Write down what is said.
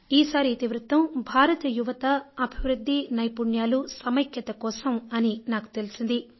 ఈసారి ఇతివృత్తం భారత్ యువత అభివృద్ధి నైపుణ్యాలు సమైక్యత కోసం అని నాకు తెలిసింది